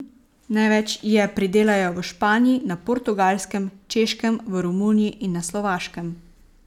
Največ je pridelajo v Španiji, na Portugalskem, Češkem, v Romuniji in na Slovaškem.